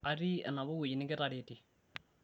atii enapa wueji nikitaretie